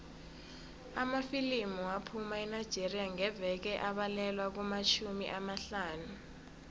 amafilimu aphuma enigeria ngeveke abalelwa kumatjhumi amahlanu